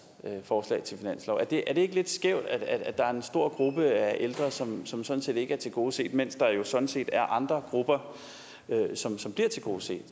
forslag til finanslov er det ikke lidt skævt at der er en stor gruppe af ældre som som sådan set ikke er tilgodeset mens der jo sådan set er andre grupper som bliver tilgodeset